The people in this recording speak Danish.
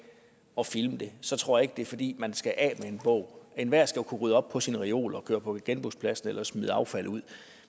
og filme det så tror jeg ikke det er fordi man skal af med en bog enhver skal jo kunne rydde op på sin reol og køre på genbrugspladsen eller smide affald ud